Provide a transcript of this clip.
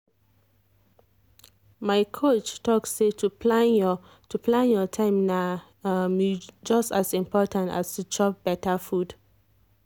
my coach talk say to plan your to plan your time na um just as important as to chop better food.